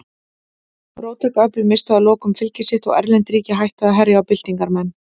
Róttæk öfl misstu að lokum fylgi sitt og erlend ríki hættu að herja á byltingarmenn.